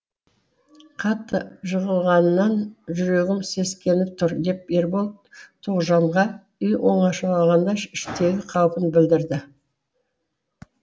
қатты жығылғаннан жүрегім сескеніп тұр деп ербол тоғжанға үй оңашалығында іштегі қаупін білдірді